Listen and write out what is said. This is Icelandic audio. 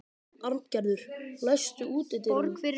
Arngerður, læstu útidyrunum.